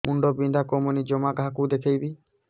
ମୁଣ୍ଡ ବିନ୍ଧା କମୁନି ଜମା କାହାକୁ ଦେଖେଇବି